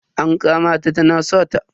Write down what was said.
An kama ta tana sata.